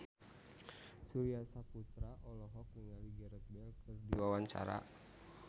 Surya Saputra olohok ningali Gareth Bale keur diwawancara